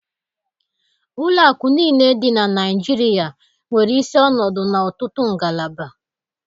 Ụlọ akụ niile dị na Naịjirịa nwere isi ọnọdụ na ọtụtụ ngalaba.